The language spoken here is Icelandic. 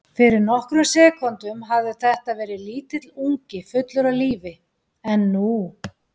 Fyrir nokkrum sekúndum hafði þetta verið lítill ungi fullur af lífi en nú.